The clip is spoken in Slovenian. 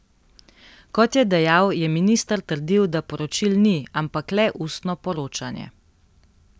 Kot je dejal, je minister trdil, da poročil ni, ampak le ustno poročanje.